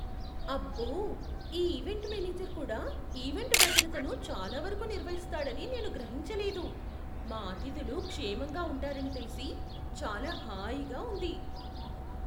అబ్బో! ఈ event manager కూడా ఈవెంట్ భద్రతను చాలా వరకు నిర్వహిస్తాడని నేను గ్రహించలేదు! మా అతిథులు క్షేమంగా ఉంటారని తెలిసి చాలా హాయిగా ఉంది.